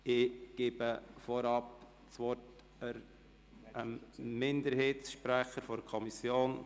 Ich gebe vorab dem Minderheitssprecher das Wort.